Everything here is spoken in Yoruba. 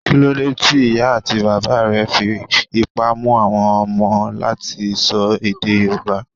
Kí ló dé tí ìyá àti bàbà rẹ fi ipá mú àwọn ọmọ láti sọ èdè Yorùbá?